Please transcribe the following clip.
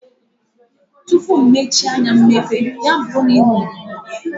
Tụpụ mmehie anya mechie, ya bụrụ na ị nwuola ọgwụ ahụ